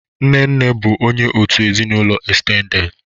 Nne nne bụ onye òtù ezinụlọ estendedị.